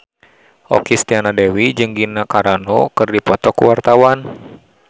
Okky Setiana Dewi jeung Gina Carano keur dipoto ku wartawan